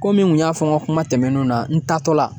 Komi n kun y'a fɔ n ka kuma tɛmɛnenw na n taatɔla